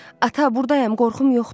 "Ata, burdayam, qorxum yoxdur."